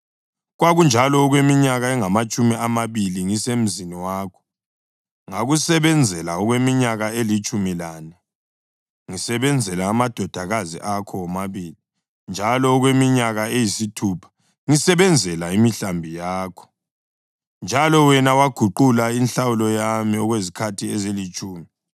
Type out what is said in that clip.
Kwakunjalo okweminyaka engamatshumi amabili ngisemzini wakho. Ngakusebenzela okweminyaka elitshumi lane ngisebenzela amadodakazi akho womabili njalo okweminyaka eyisithupha ngisebenzela imihlambi yakho, njalo wena waguqula inhlawulo yami okwezikhathi ezilitshumi.